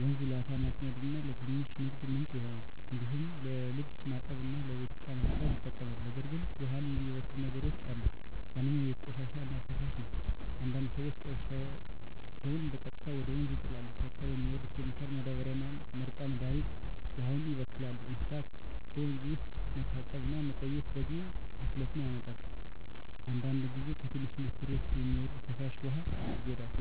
ወንዙ ለዓሣ ማጥመድ እና ለትንሽ ንግድ ምንጭ ይሆናል። እንዲሁም ለልብስ ማጠብ እና ለቤት እቃ ማጽዳት ይጠቅማል። ነገር ግን ውሃውን የሚበክሉ ነገሮች አሉ። ዋነኛው የቤት ቆሻሻ እና ፍሳሽ ነው፤ አንዳንድ ሰዎች ቆሻሻቸውን በቀጥታ ወደ ወንዝ ይጣላሉ። ከእርሻ የሚወርድ ኬሚካል ማዳበሪያ እና መርጫ መድሀኒትም ውሃውን ያበክላሉ። እንስሳት በወንዝ ውስጥ መታጠብ ወይም መቆየት ደግሞ ብክለት ያመጣል። አንዳንድ ጊዜ ከትንሽ ኢንዱስትሪዎች የሚወርድ ፍሳሽ ውሃ ይጎዳል።